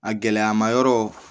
A gɛlɛyama yɔrɔ